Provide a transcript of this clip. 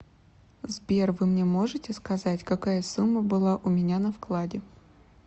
сбер вы мне можите сказать какая сумма была у меня на вкладе